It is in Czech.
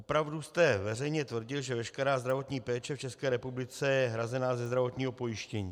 Opravdu jste veřejně tvrdil, že veškerá zdravotní péče v České republice je hrazena ze zdravotního pojištění.